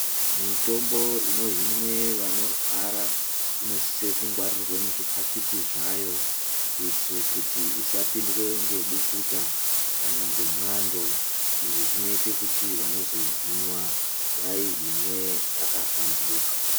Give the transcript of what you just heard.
Mitombo inohinwa vanorwara inosiswe kungwarirwe muzviphakiti zvayo kuitire kuti isapindwe ngebukuta kana ngemwando, izvi zvinoite kuti vanozoihinwa, vaihinwe yakahlamburika.